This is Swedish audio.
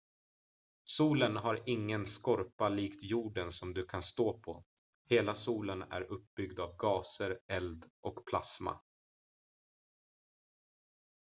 solen har ingen skorpa likt jorden som du kan stå på hela solen är uppbyggd av gaser eld och plasma